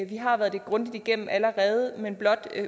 vi har været det grundigt igennem allerede men blot